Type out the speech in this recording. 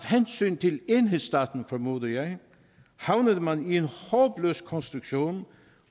hensyn til enhedsstaten formoder jeg havnede man i en håbløs konstruktion